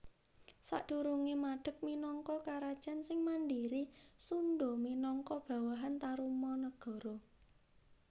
Sadurungé madeg minangka Karajan sing mandhiri Sundha minangka bawahan Tarumanagara